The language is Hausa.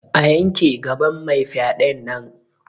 A yanke gaban mai fyaɗen nan!